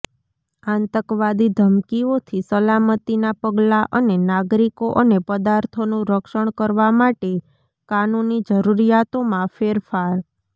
આતંકવાદી ધમકીઓથી સલામતીના પગલાં અને નાગરિકો અને પદાર્થોનું રક્ષણ કરવા માટે કાનૂની જરૂરિયાતોમાં ફેરફાર